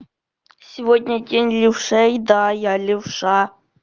сегодня день левшей да я левша